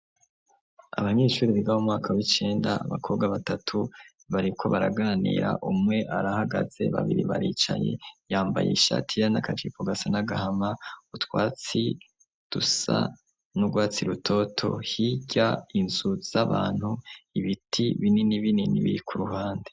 Abanyinshurizgamu mwaka b'icenda abakobwa batatu bariko baraganira umwe arahagaze babiri baricaye yambaye ishatira n'agaciko gasa n'agahama utwatsi dusa n'urwatsi rutoto hirya inzu z'abantu ibiti binini binini biri ku ruhande.